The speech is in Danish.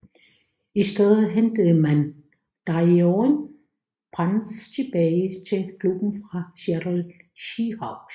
I stedet hentede man Deion Branch tilbage til klubben fra Seattle Seahawks